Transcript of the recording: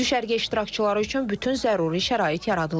Düşərgə iştirakçıları üçün bütün zəruri şərait yaradılıb.